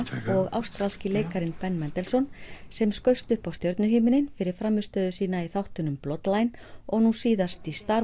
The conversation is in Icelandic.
ástralski leikarinn Ben sem skaust upp á stjörnuhimininn fyrir frammistöðu sína í þáttunum og nú síðast í star